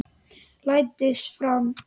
Læddist fram.